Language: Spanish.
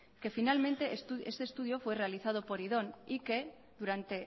finalmente este estudio fue realizado por y que durante